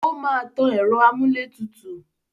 Ó máa tan ẹ̀rọ amúlétutù.